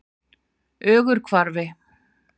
Ögurhvarfi